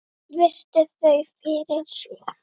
Virti þau fyrir sér.